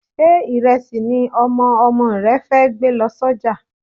Ṣé ìrẹsì ni Ọmọ ọmọ rẹ fẹ́ gbé lọ sọ́jà?